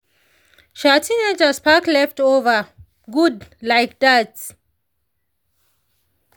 um teenagers pack leftovere good like that.